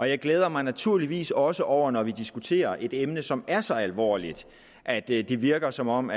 jeg glæder mig naturligvis også over når vi diskuterer et emne som er så alvorligt at det det virker som om